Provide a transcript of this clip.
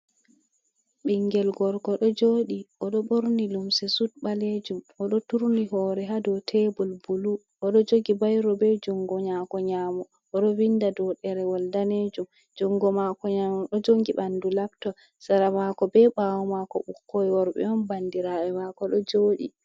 Ɓingel gorko ɗo joɗi oɗo ɓorni limse sut ɓalejum oɗo turni hore ha dow tebol bulu odo jogi bayro be jungo nyamo odo vinda do ɗerewol danejum jungo mako nano ɗo jogi ɓandu labtob sera mako be ɓawo mako ɓukkoi worɓe on bandiraɓe mako ɗo jodi.